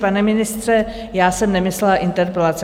Pane ministře, já jsem nemyslela interpelace.